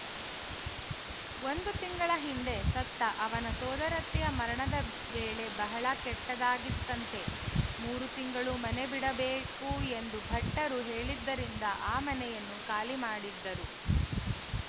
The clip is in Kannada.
ಒಂದು ತಿಂಗಳ ಹಿಂದೆ ಸತ್ತ ಅವನ ಸೋದರತ್ತೆಯ ಮರಣದ ವೇಳೆ ಬಹಳ ಕೆಟ್ಟದ್ದಾಗಿತ್ತಂತೆ ಮೂರು ತಿಂಗಳು ಮನೆ ಬಿಡಬೇಕು ಎಂದು ಭಟ್ಟರು ಹೇಳಿದ್ದರಿಂದ ಆ ಮನೆಯನ್ನು ಖಾಲಿಮಾಡಿದ್ದರು